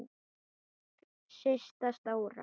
Systa stóra!